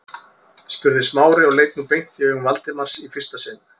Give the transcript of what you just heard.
spurði Smári og leit nú beint í augu Valdimars í fyrsta sinn.